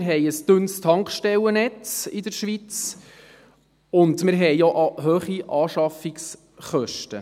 wir haben ein dünnes Tankstellennetz in der Schweiz und auch hohe Anschaffungskosten.